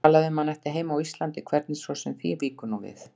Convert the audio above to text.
Talaði um að hann ætti heima á Íslandi, hvernig svo sem því víkur nú við.